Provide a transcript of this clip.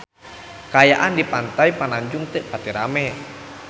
Kaayaan di Pantai Pananjung teu pati rame